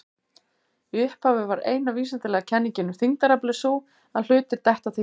Í upphafi var eina vísindalega kenningin um þyngdaraflið sú að hlutir detta til jarðar.